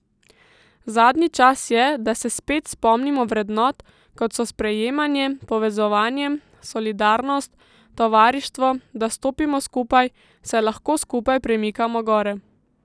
Zadnji čas je, da se spet spomnimo vrednot, kot so sprejemanje, povezovanje, solidarnost, tovarištvo, da stopimo skupaj, saj lahko skupaj premikamo gore.